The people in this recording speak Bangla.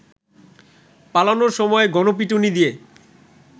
পালানোর সময় গণপিটুনি দিয়ে